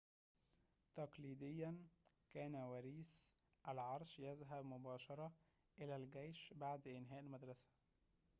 تقليدياً كان وريث العرش يذهب مباشرة إلى الجيش بعد إنهاء المدرسة